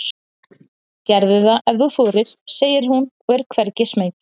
Gerðu það ef þú þorir, segir hún og er hvergi smeyk.